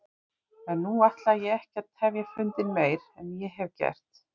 En nú ætla ég ekki að tefja fundinn meir en ég hef gert.